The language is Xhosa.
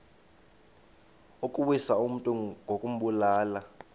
ukuwisa umntu ngokumbulala